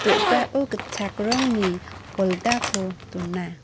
do·gao gitchak rongni poldako dona.